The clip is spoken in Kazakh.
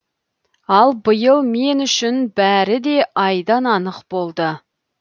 ал биыл мен үшін бәрі де айдан анық болды